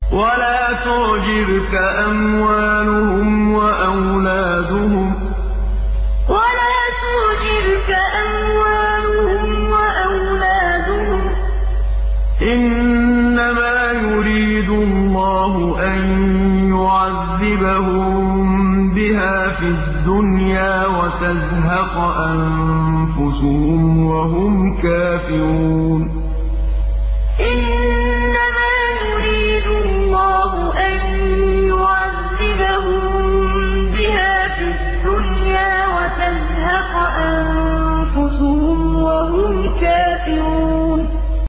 وَلَا تُعْجِبْكَ أَمْوَالُهُمْ وَأَوْلَادُهُمْ ۚ إِنَّمَا يُرِيدُ اللَّهُ أَن يُعَذِّبَهُم بِهَا فِي الدُّنْيَا وَتَزْهَقَ أَنفُسُهُمْ وَهُمْ كَافِرُونَ وَلَا تُعْجِبْكَ أَمْوَالُهُمْ وَأَوْلَادُهُمْ ۚ إِنَّمَا يُرِيدُ اللَّهُ أَن يُعَذِّبَهُم بِهَا فِي الدُّنْيَا وَتَزْهَقَ أَنفُسُهُمْ وَهُمْ كَافِرُونَ